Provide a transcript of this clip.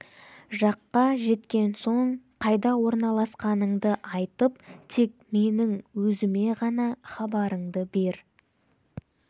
жаққа жеткен соң қайда орналасқаныңды айтып тек менің өзіме ғана хабарыңды бер